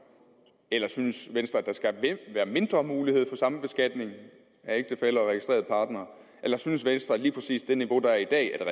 eller synes venstre at der skal være mindre mulighed for sambeskatning af ægtefæller og registrerede partnere eller synes venstre at lige præcis det niveau der er i dag er